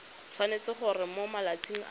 tshwanetse gore mo malatsing a